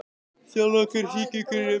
þjálfa Hver syngur best í landsliðinu?